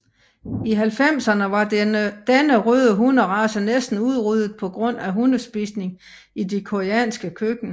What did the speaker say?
I 90erne var denne røde hunderace næsten udryddet på grund af hundespisning i det koreanske køkken